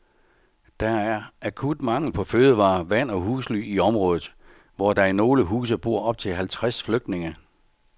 Der er akut mangel på fødevarer, vand og husly i området, hvor der i nogle huse bor op til halvtreds flygtninge.